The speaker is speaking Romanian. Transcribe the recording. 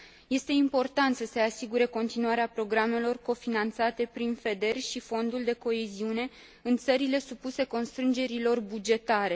Este important să se asigure continuarea programelor cofinanțate prin FEDER și Fondul de coeziune în țările supuse constrângerilor bugetare.